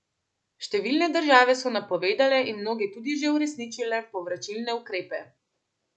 Številne države so napovedale in mnoge tudi že uresničile povračilne ukrepe.